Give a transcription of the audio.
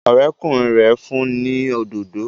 Ọ̀rẹ́kùnrin rẹ̀ fún ni òdodo